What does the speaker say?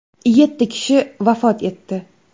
Yetti kishi vafot etdi.